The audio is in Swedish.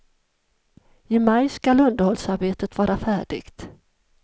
I maj skall underhållsarbetet vara färdigt.